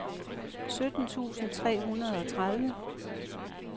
sytten tusind tre hundrede og tredive